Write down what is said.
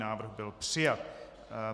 Návrh byl přijat.